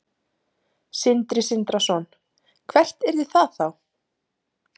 Sindri Sindrason: Hvert yrði það þá?